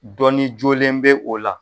Dɔnni jolen bɛ o la.